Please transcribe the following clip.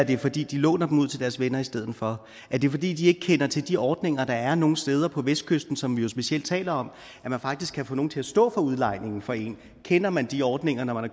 det er fordi de låner dem ud til deres venner i stedet for er det fordi de ikke kender til de ordninger der er nogle steder på vestkysten som vi jo specielt taler om hvor man faktisk kan få nogen til at stå for udlejningen for en kender man de ordninger når